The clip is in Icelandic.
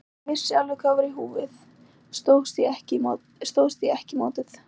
Þótt ég vissi alveg hvað var í húfi stóðst ég ekki mátið.